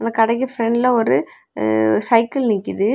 அந்த கடைக்கு பிரெண்ட்ல ஒரு அ சைக்கிள் நிக்கிது.